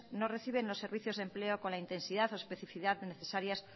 no reciben los servicios de empleo con la intensidad o especifidad necesarias